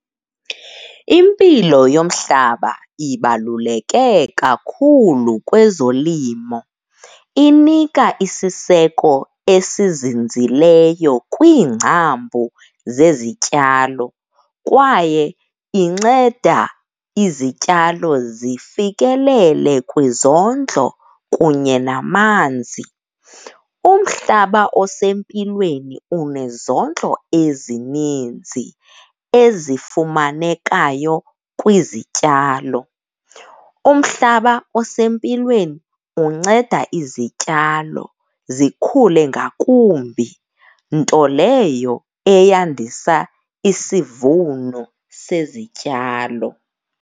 Impilo yomhlaba ibaluleke kakhulu kwezolimo, inika isiseko esizinzileyo kwiingcambu zezityalo kwaye inceda izityalo zifikelele kwizondlo kunye namanzi. Umhlaba osempilweni unezondlo ezininzi ezifumanekayo kwizityalo. Umhlaba osempilweni unceda izityalo zikhule ngakumbi, nto leyo eyandisa isivuno sezityalo.